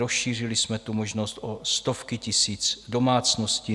Rozšířili jsme tu možnost o stovky tisíc domácností.